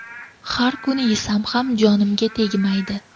Har kun yesam ham jonimga tegmaydi.